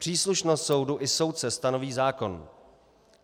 Příslušnost soudu i soudce stanoví zákon.